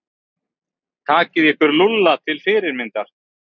Takið ykkur Lúlla til fyrirmyndar.